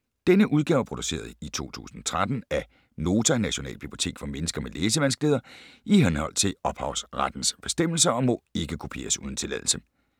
Denne udgave er produceret i 2013 af Nota - Nationalbibliotek for mennesker med læsevanskeligheder, i henhold til ophavsrettes bestemmelser, og må ikke kopieres uden tilladelse.